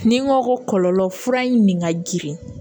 Ni n ko ko kɔlɔlɔ fura in nin ka jirin